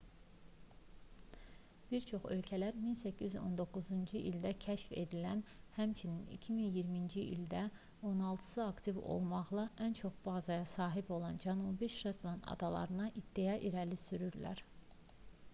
bir çox ölkələr 1819-cu ildə kəşf edilən həmçinin 2020-ci ildə on altısı aktiv olmaqla ən çox bazaya sahib olan cənubi şetland adalarına iddia irəli sürürlər